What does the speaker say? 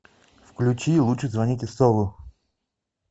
включи лучше звоните солу